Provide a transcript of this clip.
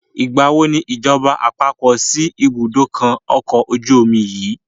Nígbàwo ni ìjọba àpapọ̀ síí ibùdókọ̀ ọkọ̀ ojú omi yìí?